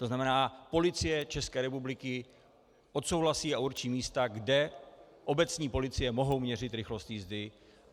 To znamená, Policie České republiky odsouhlasí a určí místa, kde obecní policie mohou měřit rychlost jízdy.